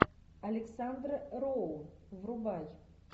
александра роу врубай